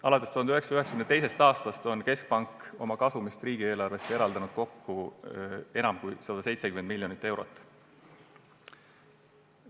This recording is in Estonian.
Alates 1992. aastast on keskpank oma kasumist eraldanud riigieelarvesse kokku enam kui 170 miljonit eurot.